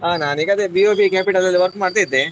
ಹಾ ನಾನು ಈಗ ಅದೇ BOP capital ಅಲ್ಲಿ work ಮಾಡ್ತಾ ಇದ್ದೆ.